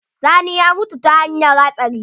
Sani ya mutu ta hanyar hatsari.